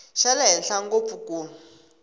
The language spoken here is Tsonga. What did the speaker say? xa le henhla ngopfu ku